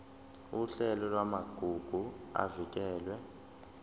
uhlelo lwamagugu avikelwe